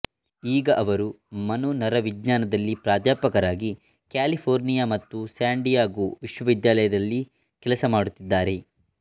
ಈಗ ಅವರು ಮನೋನರವಿಜ್ಞಾನದಲ್ಲಿ ಪ್ರಾಧ್ಯಾಪಕರಾಗಿ ಕ್ಯಾಲಿಫೊರ್ನಿಯ ಮತ್ತು ಸ್ಯಾನ್ ಡಿಯಾಗೋ ವಿಶ್ವವೆದ್ಯಾಲಯದಲ್ಲಿ ಕೆಲಸ ಮಾಡುತಿದ್ದಾರೆ